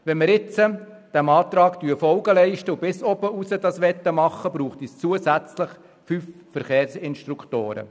Würden wir dem Antrag Folge leisten und wollten wir den Verkehrsunterricht bis obenaus erteilen, brauchte es weitere 5 Verkehrsinstruktoren.